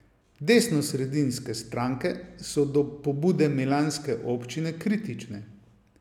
Desnosredinske stranke so do pobude milanske občine kritične.